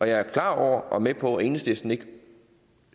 jeg er klar over og med på at enhedslisten ikke